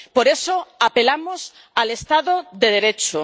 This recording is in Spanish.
Por eso apelamos al Estado de Derecho.